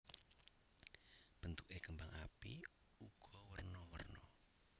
Bentuké kembang api uga werna werna